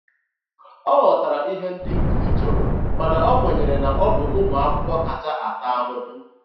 Ọ ghọtara ihe ndị nkuzi chọrọ mana o kwenyere na ọ bụ ụmụ akwụkwọ kacha ata ahụhụ.